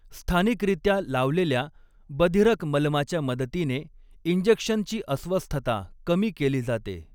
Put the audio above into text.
स्थानिकरित्या लावलेल्या बधीरक मलमाच्या मदतीने इंजेक्शनची अस्वस्थता कमी केली जाते.